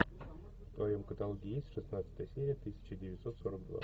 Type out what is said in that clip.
в твоем каталоге есть шестнадцатая серия тысяча девятьсот сорок два